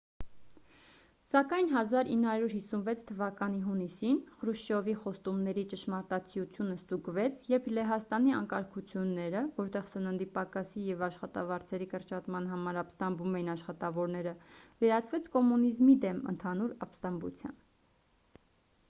սակայն 1956 թվականի հունիսին խրուշչովի խոստումների ճշմարտացիությունը ստուգվեց երբ լեհաստանի անկարգությունները որտեղ սննդի պակասի և աշխատավարձերի կրճատման համար ապստամբում էին աշխատավորները վերածվեց կոմունիզմի դեմ ընդհանուր ապստամբության